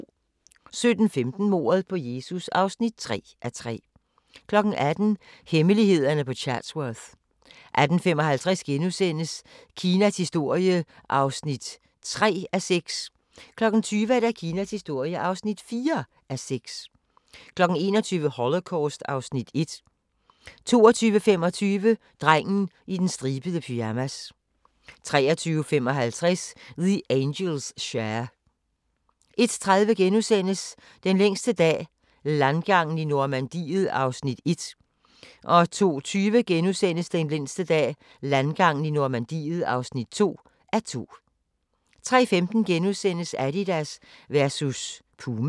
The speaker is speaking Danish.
17:15: Mordet på Jesus (3:3) 18:00: Hemmelighederne på Chatsworth 18:55: Kinas historie (3:6)* 20:00: Kinas historie (4:6) 21:00: Holocaust (Afs. 1) 22:25: Drengen i den stribede pyjamas 23:55: The Angels' Share 01:30: Den længste dag – landgangen i Normandiet (1:2)* 02:20: Den længste dag – landgangen i Normandiet (2:2)* 03:15: Adidas versus Puma *